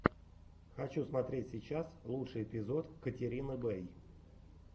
хочу смотреть сейчас лучший эпизод катерины бэй